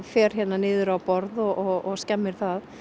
fer hérna niður á borð og skemmir það